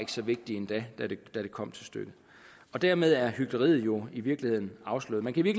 så vigtige endda når det kommer til stykket dermed er hykleriet jo i virkeligheden afsløret men kan i